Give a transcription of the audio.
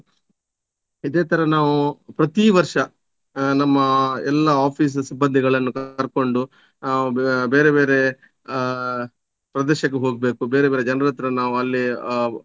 ಇದೆ ತರ ನಾವು ಪ್ರತೀವರ್ಷ ಆ ನಮ್ಮ ಎಲ್ಲ office ಸಿಬ್ಬಂದಿಗಳನ್ನು ಕರ್ಕೊಂಡು ಆ ಬೆ~ ಬೇರೆ ಬೇರೆ ಆ ಪ್ರದೇಶಕ್ಕೆ ಹೋಗ್ಬೇಕು ಬೇರೆ ಬೇರೆ ಜನರತ್ರ ನಾವು ಅಲ್ಲಿ ಆ